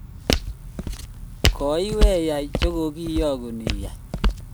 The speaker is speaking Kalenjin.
koweiyai che kokiyagun iyai